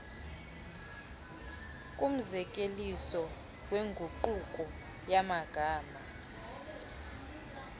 kumzekeliso wenguqulo yamagama